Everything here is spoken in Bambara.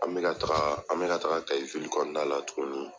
An bɛ ka taga an bɛ ka taga KAYI kɔnɔna la tuguni.